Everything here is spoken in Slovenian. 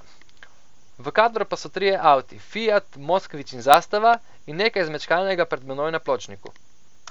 V kadru pa so trije avti, fiat, moskvič in zastava, in nekaj zmečkanega pred menoj na pločniku.